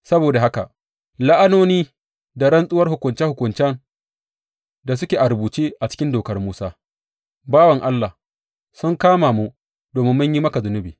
Saboda haka la’anoni da rantsuwar hukunce hukuncen da suke a rubuce a cikin Dokar Musa, bawan Allah, sun kama mu domin mun yi maka zunubi.